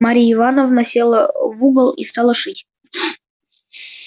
мария ивановна села в угол и стала шить